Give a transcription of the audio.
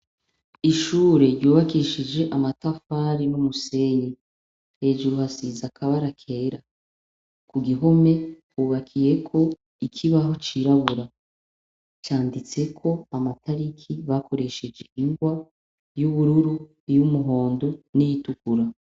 Ishure ryubakishije n'amatafari n'umusenyi hejuru hasize akabara kera ku gihome hubakiyeko ikibaho cirabura canditseko amatariki bakoresheje ingwa iy'ubururu, iy'umuhondo n'iyitukura.